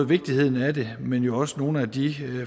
vigtigheden af det men også nogle af de